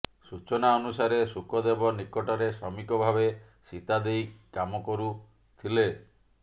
ସୂଚନା ଅନୁସାରେ ସୁକଦେବ ନିକଟରେ ଶ୍ରମିକ ଭାବେ ସୀତାଦେଇ କାମ କରୁଥିଲେ